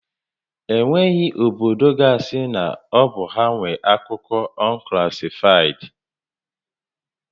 E nweghị obodo ga asị na ọ bụ ha nwé akụkọ unclassified